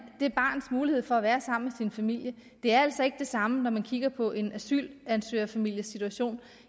det barns mulighed for at være sammen med familien det er altså ikke det samme når man kigger på en asylansøgerfamilies situation